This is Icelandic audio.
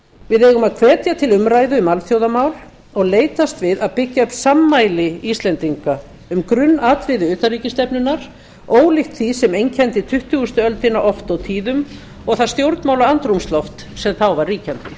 við eigum að hvetja til umræðu um alþjóðamál og leitast við að byggja upp sammæli íslendinga um grunnatriði utanríkisstefnunnar ólíkt því sem einkenndi tuttugustu öldina oft og tíðum og það stjórnmálaandrúmsloft sem þá var